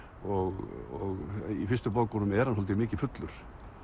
og í fyrstu bókunum er hann svolítið mikið fullur